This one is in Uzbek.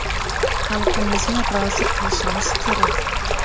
Xalqimizni rozi qilishimiz kerak.